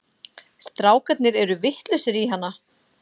Strákarnir eru vitlausir í hana.